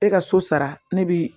E ka so sara ne bi